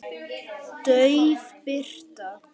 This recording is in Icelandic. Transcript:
Dauf birta.